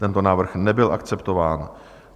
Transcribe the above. Tento návrh nebyl akceptován.